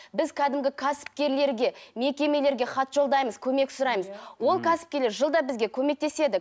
біз кәдімгі кәсіпкерлерге мекемелерге хат жолдаймыз көмек сұраймыз ол кәсіпкерлер жылда бізге көмектеседі